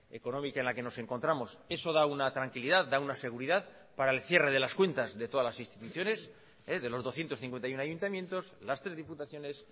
económica en la que nos encontramos eso da una tranquilidad da una seguridad para el cierre de las cuentas de todas las instituciones de los doscientos cincuenta y uno ayuntamientos las tres diputaciones